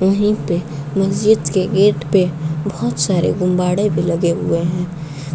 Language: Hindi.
वहीं पे मस्जिद के गेट पर बहुत सारे गुब्बारे भी लगे हुए हैं।